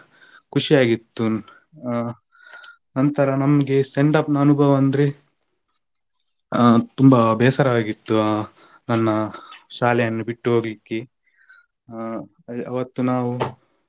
ಖುಷಿಯಾಗಿತ್ತು ಆ ನಂತರ ನಮ್ಗೆ send off ನ ಅನುಭವ ಅಂದ್ರೆ ಆ ತುಂಬಾ ಬೇಸರವಾಗಿತ್ತು ಆ ನನ್ನ ಶಾಲೆಯನ್ನು ಬಿಟ್ಟು ಹೋಗ್ಲಿಕ್ಕೆ ಅವತ್ತು ನಾವು,